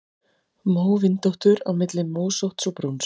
Móvindóttur: Á milli mósótts og brúns.